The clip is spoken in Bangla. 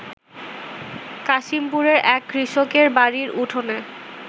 কাশিমপুরের এক কৃষকের বাড়ির উঠানে